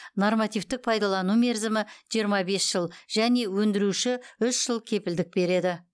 нормативтік пайдалану мерзімі жиырма бес жыл және өндіруші үш жыл кепілдік береді